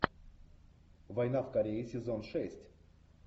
война в корее сезон шесть